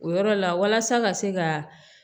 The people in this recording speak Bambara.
O yɔrɔ la walasa ka se ka